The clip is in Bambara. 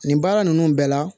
Nin baara ninnu bɛɛ la